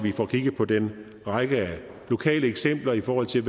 får kigget på den række af lokale eksempler i forhold til